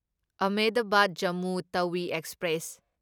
Ahmedabad Jammu Tawi express